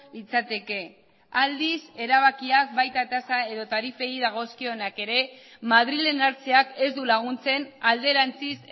litzateke aldiz erabakiak baita tasa edo tarifei dagozkienak ere madrilen hartzeak ez du laguntzen alderantziz